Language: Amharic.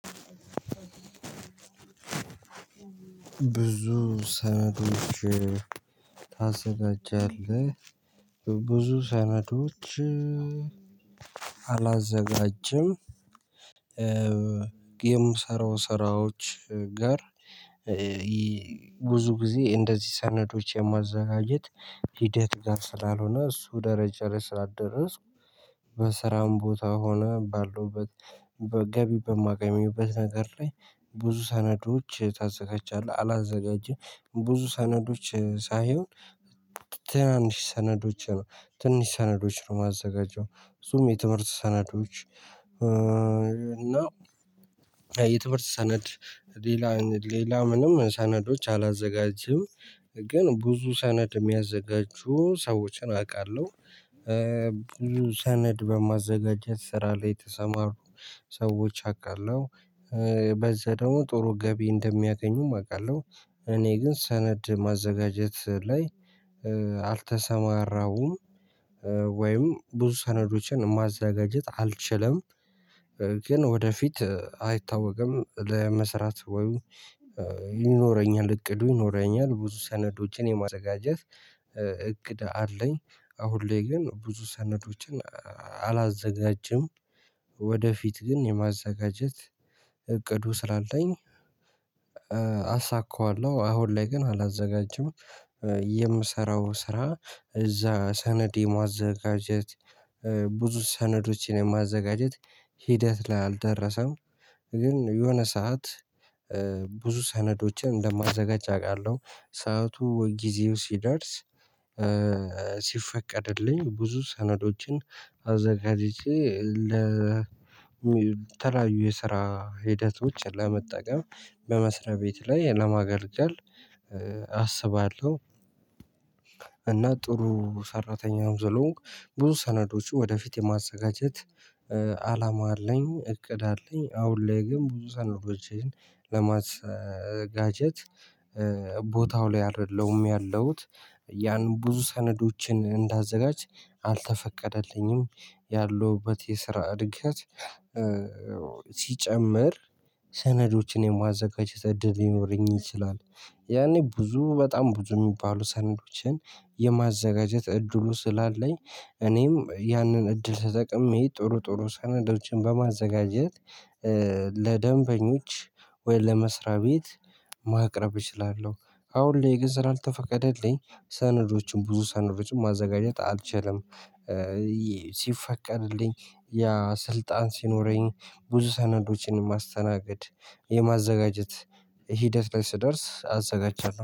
ብዙ ሰነዶች ታዘጋጃለህ ብዙ ሰነዶች አላዘጋጅም። የምሰራው ስራዎች ጋር ብዙ ጊዜ እንደዚህ ሰነዶች የማዘጋጀት ሂደት ጋር ስላልሆነ እሱ ደረጃ ላይ ስላደረስኩ። በስራውም ቦታ ሆነ ባለውበት ገቢ በማገኝበት ነገር ላይ ብዙ ሰነዶች ታዘጋጃለህ? አላዘጋጀም ብዙ ሰነዶች ሳይሆን ትናንሽ ሰነዶች ነው ትንሽ ሰነዶች ነው እማዘጋጀው እሱም የትምህርት ሰነዶች። እና የትምህርት ሰነድ ሌላ ሌላ ምንም ሰነዶች አላዘጋጅም። ግን ብዙ ሰነድ እሚያዘጋጁ ሰዎችን አውቃለሁ። ብዙ ሰነድ በማዘጋጀት ስራ ላይ የተሰማሩ ሰዎች አቃለው በዛ ደሞ ጥሩ ገቢ እንደሚያገኙም አውቃለሁ። እኔ ግን ሰነድ ማዘጋጀት ላይ አልተሰማረሁም። ወይም ብዙ ሰነዶችን ማዘጋጀት አልችልም። ግን ወደፊት አይታወቅም ለመስራት ይኖረኛል እቅዱ ይኖረኛል ብዙ ሰነዶችን የማዘጋጀት እቅድ አለኝ። አሁን ላይ ግን ብዙ ሰነዶችን አላዘጋጅም። ወደፊት ግን የማዘጋጀት ዕቅዱ ስላለኝ አሳካዋለሁ። አሁን ላይ ግን አላዘጋጅም። የምሰራው ስራ እዛ ሰነድ የማዘጋጀት ብዙ ሰነዶችን የማዘጋጀት ሂደት ላይ አልደረሰም። ግን የሆነ ሰዓት ብዙ ሰነዶችን እንደማዘጋጅ አውቃለሁ። ሰዓቱ ጊዜው ሲደርስ ሲፈቀድልኝ ብዙ ሰነዶችን አዘጋጅቼ ለተለያዩ የስራ ሂደቶች ለመጠቀም በመስሪያ ቤት ላይ ለማገልገል አስባለሁ። እና ጥሩ ሰራተኛም ስለሆንኩ ብዙ ሰነዶችን ወደፊት የማዘጋጀት አላማ አለኝ እቅድ አለኝ። አሁን ላይ ግን ብዙ ሰነዶችን ለማዘጋጀት ቦታው ላይ አይደለም ያለሁት። ያን ብዙ ሰነዶችን እንዳዘጋጅ አልተፈቀደልኝም። ያለሁበት የስራ እድገት ሲጨምር ሰነዶችን የማዘጋጀት እድል ሊኖረኝ ይችላል። ያኔ ብዙ በጣም ብዙ እሚባሉ ሰነዶችን የማዘጋጀት እድሉ ስላለኝ እኔም ያንን እድል ተጠቅሜ ጥሩ ጥሩ ሰናዶችን በማዘጋጀት። ለደንበኞች ወይም ለመስሪያ ቤት ማቅረብ እችላለሁ። አሁን ላይ ግን ስላልተፈቀደልኝ ሰነዶችን ብዙ ሰነዶችን ማዘጋጀት አልቻለም። ሲፈቀድልኝ ያ ስልጣን ሲኖረኝ ብዙ ሰነዶችን ማስተናገድ የማዘጋጀት ሂደት ላይ ስደርስ አዘጋጃለሁ